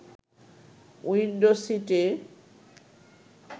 window সিট’-এ